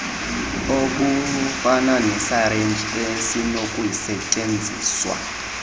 obufana nesirinji esinokusetyenziswa